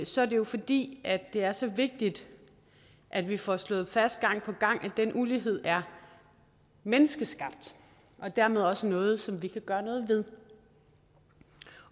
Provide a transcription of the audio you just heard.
så er det jo fordi det er så vigtigt at vi får slået fast gang på gang at den ulighed er menneskeskabt og dermed også noget som vi kan gøre noget ved